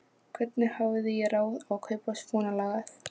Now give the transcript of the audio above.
Hvernig hafði ég ráð á að kaupa svonalagað?